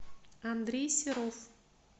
андрей серов